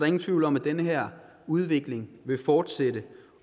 ingen tvivl om at den her udvikling vil fortsætte